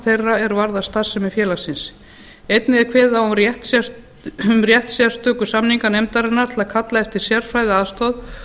þeirra er varða starfsemi félagsins einnig er kveðið á um rétt sérstöku samninganefndarinnar til að kalla eftir sérfræðiaðstoð